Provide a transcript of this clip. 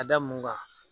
Ka da mun kan